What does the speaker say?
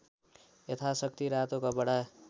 यथाशक्ति रातो कपडा